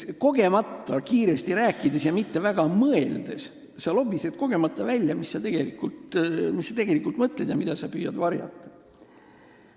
Kogemata, kiiresti rääkides ja mitte väga mõeldes sa lobised välja, mida sa tegelikult mõtled ja mida sa püüad varjata.